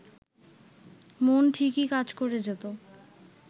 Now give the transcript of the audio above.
মন ঠিকই কাজ করে যেত